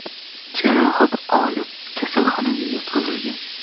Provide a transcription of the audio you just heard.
jarohat olib, kasalxonaga yotqizilgan.